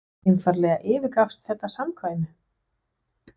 eða einfaldlega yfirgafst þetta samkvæmi?